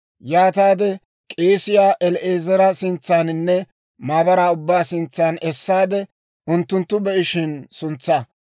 yaataade k'eesiyaa El"aazara sintsaaninne maabaraa ubbaa sintsan essaade, unttunttu be'ishin suntsaa.